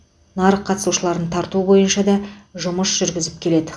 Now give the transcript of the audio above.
нарық қатысушыларын тарту бойынша да жұмыс жүргізіп келеді